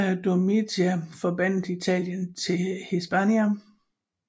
Via Domitia forbandt Italien med Hispania